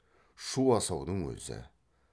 шу асаудың өзі